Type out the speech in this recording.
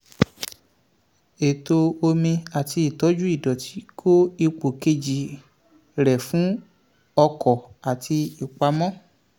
ètò omi àti ìtọ́jú ìdọ̀tí kó ipò kejì rẹ̀ fún ọkọ̀ àti ìpamọ́.